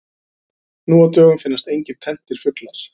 Nú á dögum finnast engir tenntir fuglar.